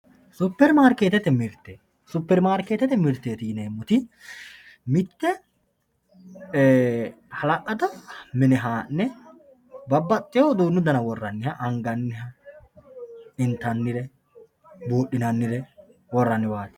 superimaarikeettete mirte superimaarikeettete mirteeti yineemmoti mitte hala'lado mine haa'ne babbaxxewoo uduunnu dana worranniha anganniha intannire buudhinannire worranniwaati.